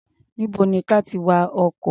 Níbo ni ka ti wa ọkọ̀?